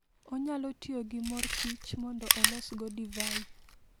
Onyalo tiyo gi mor kich mondo olosgo divai.